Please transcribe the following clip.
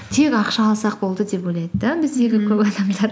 тек ақша алсақ болды деп ойлайды да біздегі көп адамдар